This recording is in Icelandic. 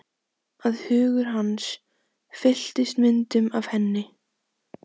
Að hugur hans fylltist myndum af henni.